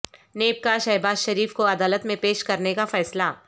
NAB کا شہباز شریف کو عدالت میں پیش کرنے کا فیصلہ